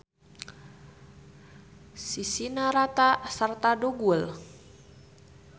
Sisina rata sarta dugul.